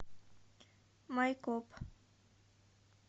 майкоп